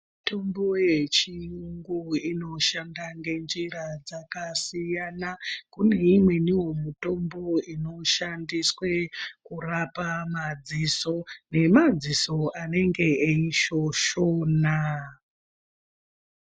Mitombo yechiyungu inoshanda ngenjira dzakasiyana kune imweniwo mitombo inoshandiswe kurapa madziso nemadziso anenge eishoshona.